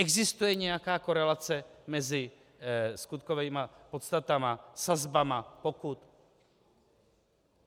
Existuje nějaká korelace mezi skutkovými podstatami, sazbami pokut?